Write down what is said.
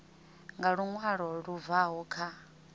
nga luṅwalo lu bvaho kha